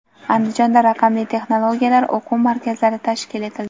Andijonda raqamli texnologiyalar o‘quv markazlari tashkil etildi.